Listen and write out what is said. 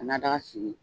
Ka na daga sigi